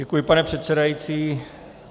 Děkuji, pane předsedající.